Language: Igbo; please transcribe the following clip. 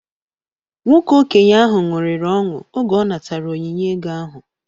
Nwoke okenye ahụ ṅụrịrị ọṅụ oge ọ natara onyinye ego ahụ